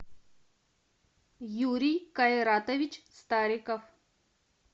юрий кайратович стариков